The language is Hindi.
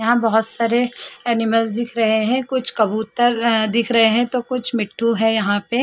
यहां बहुत सारे एनिमल्स दिख रहे हैं कुछ कबूतर दिख रहे हैं तो कुछ मिट्टू है यहां पे।